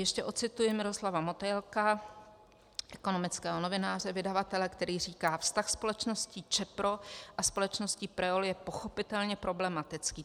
Ještě ocituji Miroslava Motejlka, ekonomického novináře, vydavatele, který říká: Vztah společnosti Čepro a společnosti Preol je pochopitelně problematický.